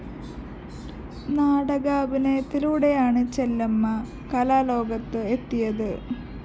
നാടകാഭിനയത്തിലൂടെയാണ് ചെല്ലമ്മ കലാലോകത്ത് എത്തിയത്